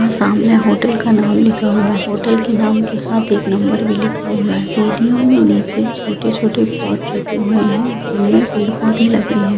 सामने होटल का नाम लिखा हुआ है होटल के नाम के साथ एक नंबर भी लिखा हुआ है|